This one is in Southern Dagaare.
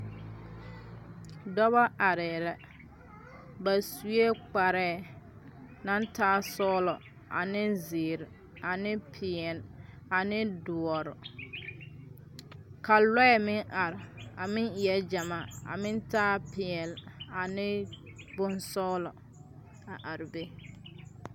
Dɔba aree la, ba sue kpaare naŋ taa sɔglɔɔ ane zeɛre, ane pɛɛlɛɛ ane dɔre, ka lɔɛ meŋ are, ka meŋ are a meŋ eɛɛ gyɛmaa a meŋ taaɛ pɛɛl ane bonsɔglɔ a are be